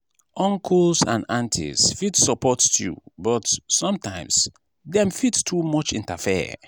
uncles and aunties fit support you but sometimes dem fit too much interfere.